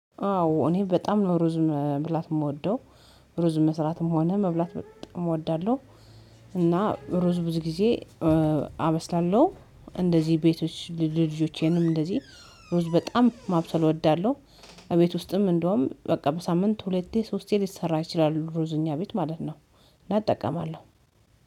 አዎ እኔ በጣም ሩዝ መብላት የምወደው፤ ሩዝ መስራትም ሆነ መብላት በጣም እወዳለሁ እና ሩዝ ብዙ ጊዜ አበስላለሁ። እንደዚህ ቤቶች ልጅዎቼንም እንደዚህ ሩዝ በጣም ማብሰል እወዳለሁ እቤት ውስጥም እንደውም በቃ በሳምንት ሁለቴ ሶስቴ ሊሰራ ይችላል ሩዝ እኛ ቤት ማለት ነው እና እጠቀማለሁ።